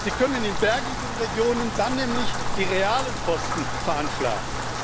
Sie können in bergigen Regionen dann nämlich die realen Kosten veranschlagen.